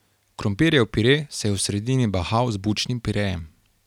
Krompirjev pire se je v sredini bahal z bučnim pirejem.